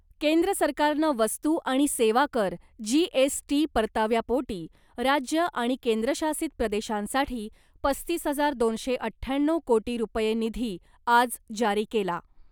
केंद्र सरकारनं वस्तू आणि सेवा कर जीएसटी परताव्यापोटी राज्य आणि केंद्रशासित प्रदेशांसाठी पस्तीस हजार दोनशे अठ्ठ्याण्णव कोटी रुपये निधी आज जारी केला .